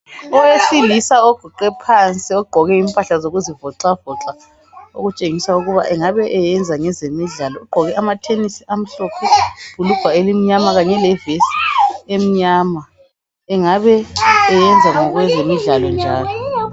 Owesilisa oguqe phansi ogqoke impahla zokuzivoxavoxa okutshengisa ukuba engabe eyenza ngezemidlalo, ugqoke amathenisi amhlophe ibhulugwa elimnyama kanye levesi emnyama engabe eyenza ngezemidlalo njalo.